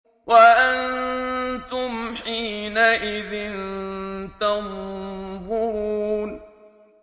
وَأَنتُمْ حِينَئِذٍ تَنظُرُونَ